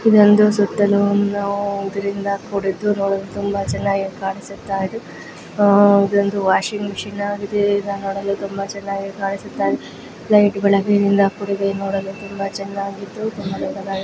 ಇದೊಂದು ಸುತ್ತಲು ಇದರಿಂದ ಕೂಡಿದ್ದು ತುಂಬಾ ಚನ್ನಾಗಿ ಕಾಣಿಸುತ್ತಿದೆ ಇದೊಂದು ವಾಷಿಂಗ್ ಮಷಿನ್ ಆಗಿದುವು ನೋಡಲು ತುಂಬಾ ಚೆನ್ನಾಗಿ ಕಾಣುತ್ತಿದೆ.